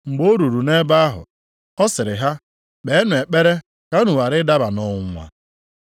Mgbe o ruru nʼebe ahụ, ọ sịrị ha, “Kpeenụ ekpere ka unu ghara ịdaba nʼọnwụnwa.”